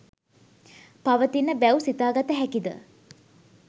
පවතින බැව් සිතාගත හැකිද?